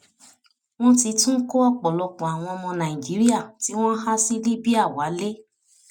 wọn ti tún kó ọpọlọpọ àwọn ọmọ nàìjíríà tí wọn há sí libya wálé